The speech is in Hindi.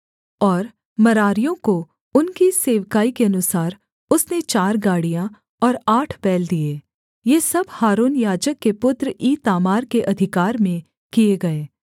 और मरारियों को उनकी सेवकाई के अनुसार उसने चार गाड़ियाँ और आठ बैल दिए ये सब हारून याजक के पुत्र ईतामार के अधिकार में किए गए